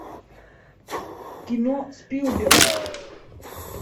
кино спилберг